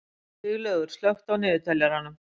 Siglaugur, slökktu á niðurteljaranum.